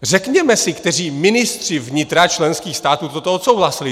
Řekněme si, kteří ministři vnitra členských států toto odsouhlasili.